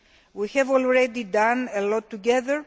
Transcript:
We have already done a lot together.